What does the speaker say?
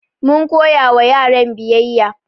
Mun koya wa yaran biyayya